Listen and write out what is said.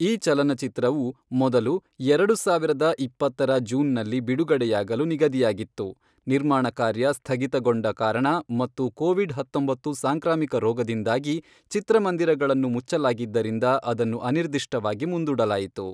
ಈ ಚಲನಚಿತ್ರವು, ಮೊದಲು, ಎರಡು ಸಾವಿರದ ಇಪ್ಪತ್ತರ ಜೂನ್‌ನಲ್ಲಿ ಬಿಡುಗಡೆಯಾಗಲು ನಿಗದಿಯಾಗಿತ್ತು, ನಿರ್ಮಾಣ ಕಾರ್ಯ ಸ್ಥಗಿತಗೊಂಡ ಕಾರಣ ಮತ್ತು ಕೋವಿಡ್-‌ಹತ್ತೊಂಬತ್ತು ಸಾಂಕ್ರಾಮಿಕ ರೋಗದಿಂದಾಗಿ ಚಿತ್ರಮಂದಿರಗಳನ್ನು ಮುಚ್ಚಲಾಗಿದ್ದರಿಂದ ಅದನ್ನು ಅನಿರ್ದಿಷ್ಟವಾಗಿ ಮುಂದೂಡಲಾಯಿತು.